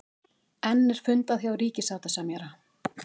Enn er fundað hjá ríkissáttasemjara